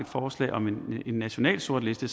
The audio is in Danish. forslag om en national sortliste